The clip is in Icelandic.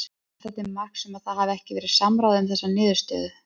Er það til marks um að það hafi ekki verið samráð um þessa niðurstöðum?